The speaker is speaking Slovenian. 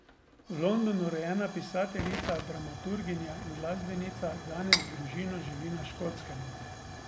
V Londonu rojena pisateljica, dramaturginja in glasbenica danes z družino živi na Škotskem.